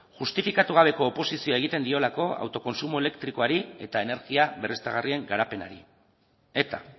justifikatu gabeko oposizioa egiten diolako autokontsumo elektrikoari eta energia berriztagarrien garapenari eta